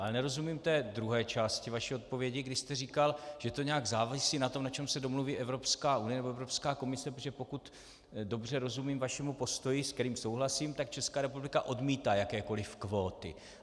Ale nerozumím té druhé části vaší odpovědi, kdy jste říkal, že to nějak závisí na tom, na čem se domluví Evropská unie nebo Evropská komise, protože pokud dobře rozumím vašemu postoji, se kterým souhlasím, tak Česká republika odmítá jakékoliv kvóty.